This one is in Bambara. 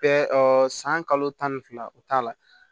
Bɛɛ san kalo tan ni fila o t'a la